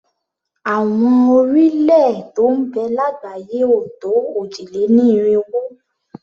Àwọn orílẹ̀-èè tó ń bẹ lágbàáyé ò tó òjì-lé-ní-irinwó.